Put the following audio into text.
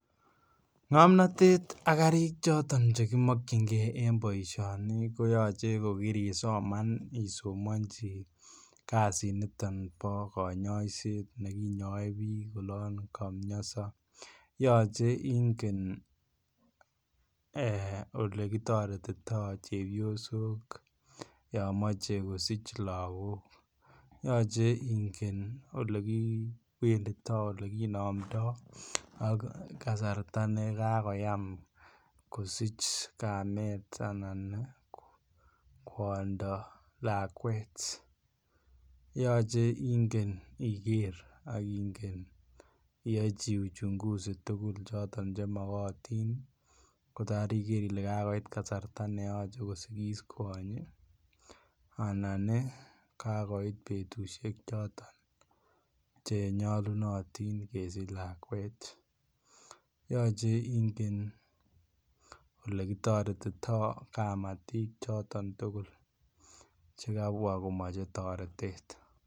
Ngomnatet ak karik choton chekimokyinge en boisioni koyoche kokirisoman isomanchi kasitnito bo konyoiset nekinyoe biik olon kamioso. Yoche ingen ee olekitoretito chepiosok yon moche kosich lagok. Yoche ingen olekipendito, olekinamndo ak kasarta ne kakoyam kosich kamet anan kwondo lakwet. Yoche ingen iger ak ingen iyochi uchunguzi tugul choton che magotin kotar iger ile kagoit kasarta ne yoche kosigis kwonyi anani kakoit betusiek choton chenyalunotin kesich lakwet. Yoche ingen olekitoretito kamatik choton tugul che kabwa komoche toretet.